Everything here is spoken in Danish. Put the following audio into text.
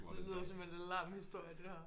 Det lyder som en lam historie det her